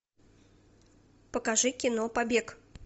покажи кино побег